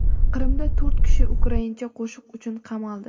Qrimda to‘rt kishi ukraincha qo‘shiq uchun qamaldi.